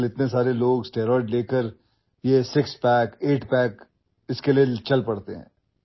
आजकाल खूप लोक स्टिरॉईड्सचे सेवन करून सिक्स पॅक एट पॅक यांच्या मागे लागतात